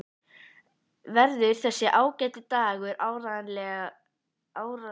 Verður þessi ágæti dagur árlegur héðan í frá?